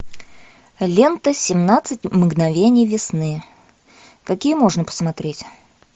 лента семнадцать мгновений весны какие можно посмотреть